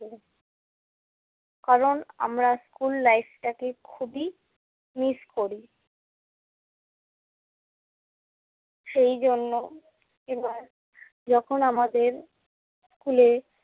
কারণ আমরা school life টাকে খুবই miss করি। সেইজন্য এবার যখন আমাদের স্কুলে